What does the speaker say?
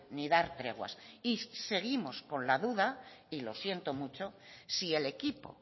ni dar treguas y seguimos con la duda y lo siento mucho si el equipo